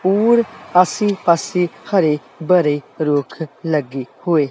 ਹੋਰ ਆਸੇ ਪਾਸੇ ਹਰੇ ਭਰੇ ਰੁੱਖ ਲੱਗੇ ਹੋਏ